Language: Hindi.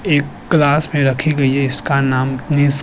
एक ग्लास में रखी गई है इसका नाम निस --